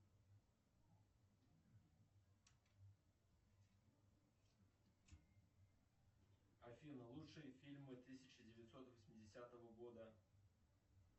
афина лучшие фильмы тысяча девятьсот восьмидесятого года